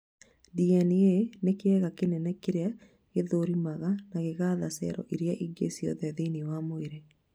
DNA nĩ kĩga kĩnene kĩrĩa gĩthũrimaga na gĩgatha cero irĩa ingĩ ciothe thĩini wa mwĩrĩ